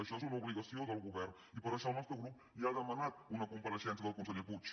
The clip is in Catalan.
això és una obligació del govern i per això el nostre grup ja ha demanat una compareixença del senyor puig